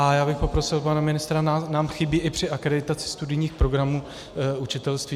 A já bych poprosil pana ministra, nám chybí i při akreditaci studijních programů učitelství.